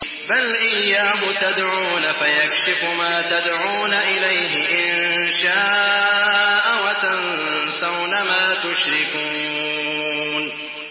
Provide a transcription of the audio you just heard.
بَلْ إِيَّاهُ تَدْعُونَ فَيَكْشِفُ مَا تَدْعُونَ إِلَيْهِ إِن شَاءَ وَتَنسَوْنَ مَا تُشْرِكُونَ